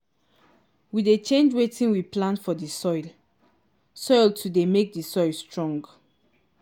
we dey change wetin we plant for the soil soil to dey make the soil strong